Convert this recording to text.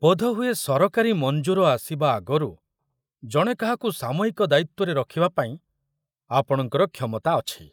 ବୋଧହୁଏ ସରକାରୀ ମଞ୍ଜୁର ଆସିବା ଆଗରୁ ଜଣେ କାହାକୁ ସାମୟିକ ଦାୟିତ୍ବରେ ରଖୁବାପାଇଁ ଆପଣଙ୍କର କ୍ଷମତା ଅଛି।